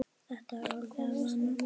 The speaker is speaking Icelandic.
Þetta er orðið að vana.